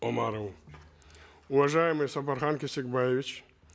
омарову уважаемый сапархан кесикбаевич